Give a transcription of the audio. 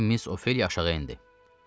Deyə Miss Ofeliya aşağı endi.